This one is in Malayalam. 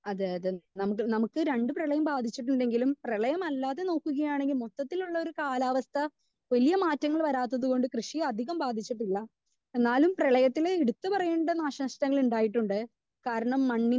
സ്പീക്കർ 2 നമുക്ക് നമുക്ക് അതെ അതെ നമുക്ക് നമുക്ക് രണ്ട് പ്രളയം ബാധിച്ചിട്ടുണ്ടെങ്കിലും പ്രളയം അല്ലാതെ നോക്കുകയാണെങ്കിൽ മൊത്തത്തിലുള്ള ഒരു കാലാവസ്ഥ വല്യേ മാറ്റങ്ങൾ വരാത്തത് കൊണ്ട് കൃഷിയെ അധികം ബാധിച്ചിട്ടില്ല.എന്നാലും പ്രളയത്തില് എടുത്തു പറയേണ്ട നാശ നഷ്ടങ്ങൾ ഉണ്ടായിട്ടുണ്ട്. കാരണം മണ്ണിന്റെ